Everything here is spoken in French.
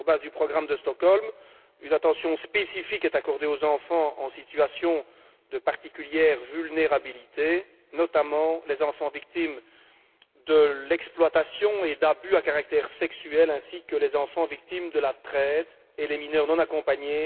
Sur la base du programme de Stockholm, une attention spécifique est accordée aux enfants en situation de particulière vulnérabilité, notamment les enfants victimes de l'exploitation et d'abus à caractère sexuel, ainsi que les enfants victimes de la traite et les mineurs non accompagnés.